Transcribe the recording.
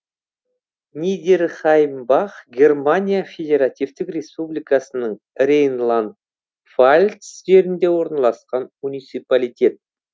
нидерхаймбах германия федеративтік республикасының рейнланд пфальц жерінде орналасқан муниципалитет